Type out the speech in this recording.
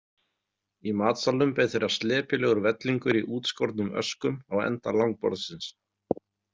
Í matsalnum beið þeirra slepjulegur vellingur í útskornum öskum á enda langborðsins.